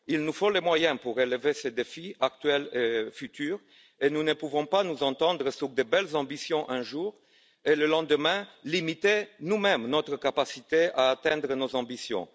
Il nous faut des moyens pour relever les défis actuels et futurs, et nous ne pouvons pas nous entendre sur de belles ambitions un jour et, le lendemain, limiter nous mêmes notre capacité à atteindre nos ambitions.